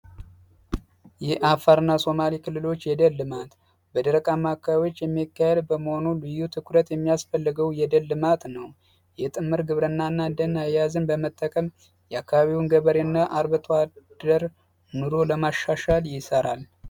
የ አፋርና ሶማሊ ክልሎች የደልድማት በድረቃማካቢዎች የሚካሄል በመሆኑ ልዩ ትኩረት የሚያስፈልገው የደልድማት ነው። የጥምር ግብርናና ደን አያዝን በመጠቀም የአካባቢውን ገበሬ እና አርበቷደር ኑሮ ለማሻሻል ይሠራል።